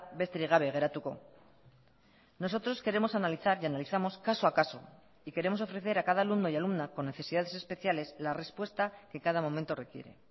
besterik gabe geratuko nosotros queremos analizar y analizamos caso a caso y queremos ofrecer a cada alumno y alumna con necesidades especiales la respuesta que cada momento requiere